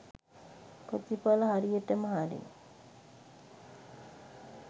ප්‍රතිඵල හරියටම හරි